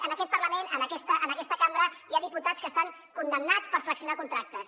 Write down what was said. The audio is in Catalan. en aquest parlament en aquesta cambra hi ha diputats que estan condemnats per fraccionar contractes